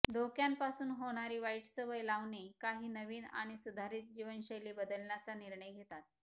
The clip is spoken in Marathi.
धोक्यांपासून होणारी वाईट सवय लावणे काही नवीन आणि सुधारीत जीवनशैली बदलण्याचा निर्णय घेतात